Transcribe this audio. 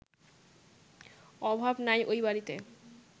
অভাব নাই ওই বাড়িতে